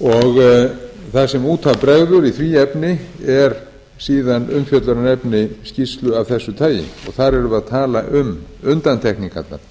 og það sem út af bregður í því efni er síðan umfjöllunarefni skýrslu af þessu tagi og þar erum við að tala um undantekningarnar